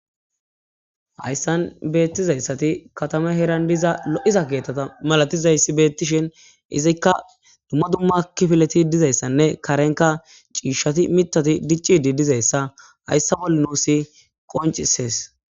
hayssan beettizayssati katame herandiza lo7iza geettata malatizayssi beettishin izikka dumma dumma kifileti dizayssanne karenka ciishshati mitati diccidi dizayssa hayssa boll nuusi qoncisees